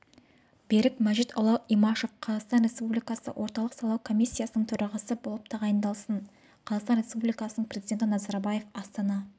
берік мәжитұлы имашев қазақстан республикасы орталық сайлау комиссиясының төрағасы болып тағайындалсын қазақстан республикасының президенті назарбаев астана